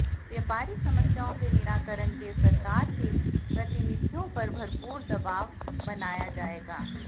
व्यापारी समस्याओं के निराकरण के सरकार के प्रतिनिधियों पर भरपूर दवाव वनाया जाऐगा